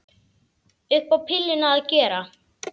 Upp á pilluna að gera.